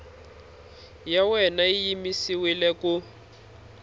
ya wena yi yimisiwile ku